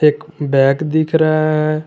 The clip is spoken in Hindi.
बैग दिख रहा है।